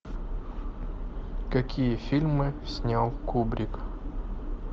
какие фильмы снял кубрик